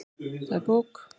Það er bók.